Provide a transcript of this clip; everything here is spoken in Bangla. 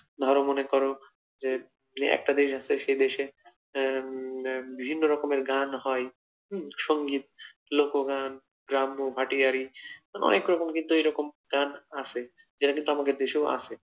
ধর মনে কর যে একটা দেশ আছে সে দেশে আহ বিভিন্ন রকমের গান হয় সংগীত লোকগান গ্রাম্য ভাটিয়ারী অনেক রকম কিন্তু এরকম গান আছে যেটা কিন্তু আমাদের দেশেও আছে,